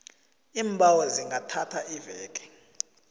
iimbawo zingathatha iveke